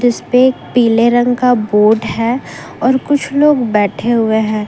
इसपे एक पीले रंग का बोर्ड है और कुछ लोग बैठे हुए हैं।